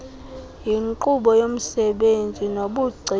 yinkqubo yomsebenzi nobugcisa